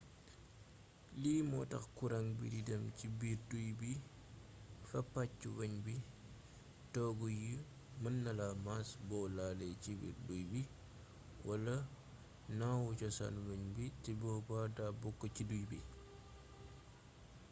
lii mootax kuraŋ bi di dem ci biir duy bi fa pacc weñ bu toogu yi mën nala mass bo laale cibiir duuy bi wala naawu cosaan weñ bi te boba da bokk ci duuy bi